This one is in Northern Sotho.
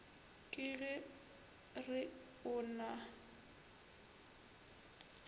ke go re o na